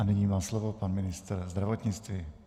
A nyní má slovo pan ministr zdravotnictví.